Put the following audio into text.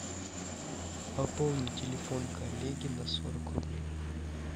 пополни телефон коллеги на сорок рублей